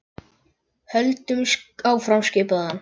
Höldum áfram skipaði hann.